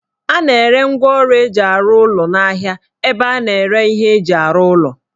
A na-ere ngwaọrụ eji arụ ụlọ n'ahia ebe a na-ere ihe eji arụ ụlọ